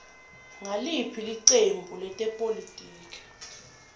nguliphi licembu letepolitiki